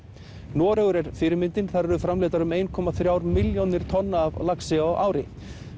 Noregur er fyrirmyndin þar eru framleiddar um eina þrjár milljónir tonna af laxi á ári